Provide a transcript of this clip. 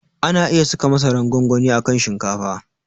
Ana iya saka masaran gwangwani a kan shinkafa.